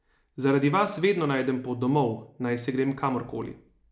Zaradi vas vedno najdem pot domov, najsi grem kamorkoli.